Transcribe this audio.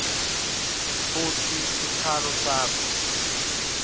futsi sikhalo sakho